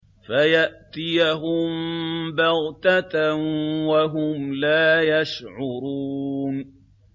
فَيَأْتِيَهُم بَغْتَةً وَهُمْ لَا يَشْعُرُونَ